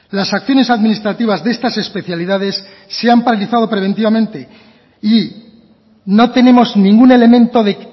las acciones administrativas de estas especialidades se han paralizado preventivamente y no tenemos ningún elemento de